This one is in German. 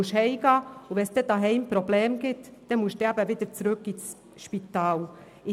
Die Mütter müssen nach Hause gehen, und sollte es zu Hause Probleme geben, müssen sie wieder zurück ins Spital gehen.